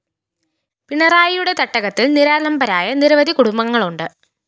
പിണറായിയുടെ തട്ടകത്തില്‍ നിരാലംബരായ നിരവധി കുടുംബങ്ങളുണ്ട്